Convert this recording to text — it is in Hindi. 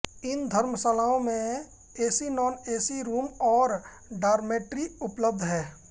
इन धर्मशालाओं में एसी नॉन एसी रूम और डारमेट्री उपलब्ध हैं